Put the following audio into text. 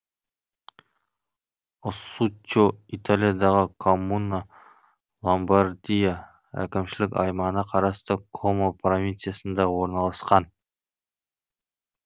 оссуччо италиядағы коммуна ломбардия әкімшілік аймағына қарасты комо провинциясында орналасқан